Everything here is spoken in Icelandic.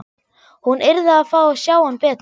Hún yrði að fá að sjá hann betur.